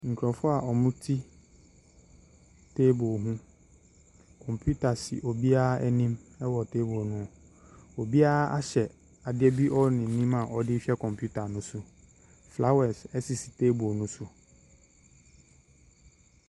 Nkurɔfoɔ a wɔte table ho, computer si obiara anim wɔ table ho, obiara ahyɛ adeɛ bi wɔ n’anim a wɔde rehwɛ computer ne so, flowers sisi table ne so.